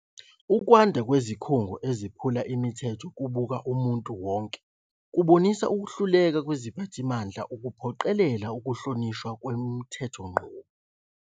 Ukwanda kwezikhungo eziphula imithetho kubuka umuntu wonke kubonisa ukuhluleka kweziphathimandla ukuphoqelela ukuhlonishwa kwemithethonqubo.